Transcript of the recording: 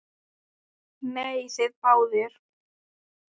Nei, þið báðar.